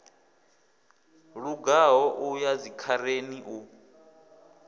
lugaho u ya dzikhareni u